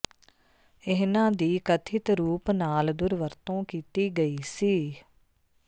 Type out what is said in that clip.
ਇਨ੍ਹਾਂ ਦੀ ਕਥਿਤ ਰੂਪ ਨਾਲ ਦੁਰਵਰਤੋਂ ਕੀਤੀ ਗਈ ਸੀ